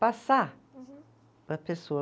Passar. Uhum. Para a pessoa.